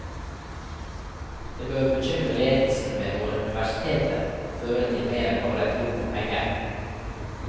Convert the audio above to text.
Det bør bekymre ledelsen ved våre universiteter, og føre til mer enn bare et rop om penger.